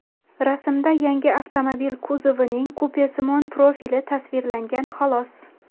Rasmda yangi avtomobil kuzovining kupesimon profili tasvirlangan xolos.